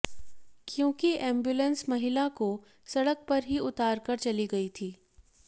क्योंकि एंबुलेंस महिला को सड़क पर ही उतार कर चली गई थी